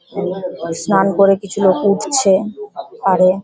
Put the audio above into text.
স্নান করে কিছু লোক উঠছে পাড়ে।